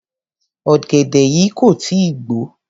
Ọ̀gẹ̀dẹ̀ yìí kò tí ì gbò ó.